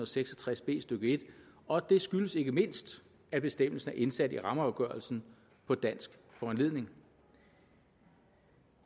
seks og tres b stykke en og det skyldes ikke mindst at bestemmelsen er indsat i rammeafgørelsen på dansk foranledning